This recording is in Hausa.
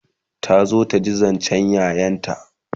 ta zo taji zancen ƴaƴanta